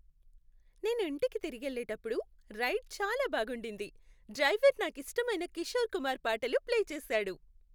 నేను ఇంటికి తిరిగెళ్ళేప్పుడు రైడ్ చాలా బాగుండింది. డ్రైవర్ నాకిష్టమైన కిషోర్ కుమార్ పాటలు ప్లే చేశాడు.